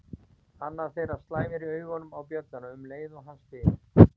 Annar þeirra slæmir augunum á bjölluna um leið og hann spyr